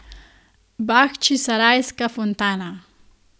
Bahčisarajska fontana.